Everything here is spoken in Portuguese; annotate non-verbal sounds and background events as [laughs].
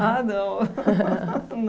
Ah, não [laughs]